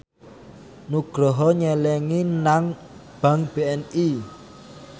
Nugroho nyelengi nang bank BNI